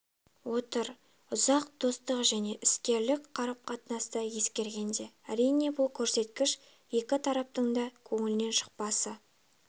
отыр ұзақ достық және іскерлік қарым-қатынасты ескергенде әрине бұл көрсеткіш екі тараптың да көңілінен шықпасы